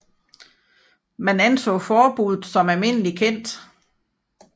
Man anså forbuddet som almindeligt kendt